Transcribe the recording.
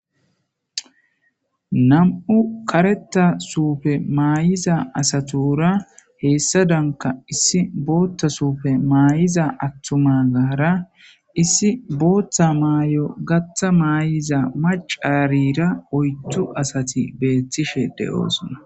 Nam7u karetta suufe maayiza asatura heessadanka issi bootta suufe maay7iza attuma gara issi boottha maay7o gatha maay7iza macaarira oyttu asati beettishe de7oosnna